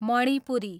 Manipuri